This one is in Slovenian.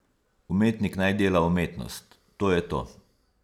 Umetnik naj dela umetnost, to je to.